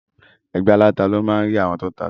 Ẹgbẹ́ aláta ni o máa rí àwọn tó tá ata.